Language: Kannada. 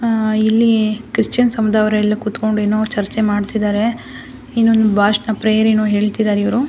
ಹ ಇಲ್ಲಿ ಕ್ರಿಶ್ಚಿಯನ್ ಸಮುದಾಯದವರು ಎಲ್ಲ ಕುತ್ಕೊಂಡು ಏನೋ ಚರ್ಚೆ ಮಾಡ್ತಾ ಇದ್ದಾರೆ ಏನೋ ಒಂದು ಭಾಷಣ ಪ್ರೇಯರ್ ಏನೋ ಹೇಳ್ತಿದ್ದಾರೆ .